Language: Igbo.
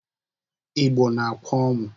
Igbo na-akwa ọnwụ.